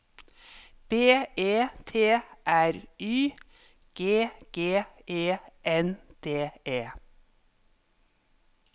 B E T R Y G G E N D E